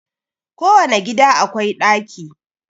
Kowane gida akwai daki